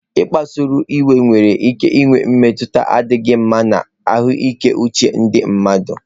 Ịkpasuịwe nwere ike inwe mmetụta na-adịghị mma na ahụike uche ndị mmadụ